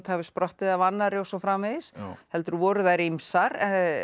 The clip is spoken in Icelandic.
hafi sprottið af annarri og svo framvegis heldur voru þær ýmsar